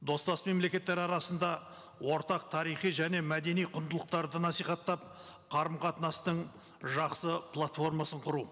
достас мемлекеттер арасында ортақ тарихи және мәдени құндылықтарды насихаттап қарым қатынастың жақсы платформасын құру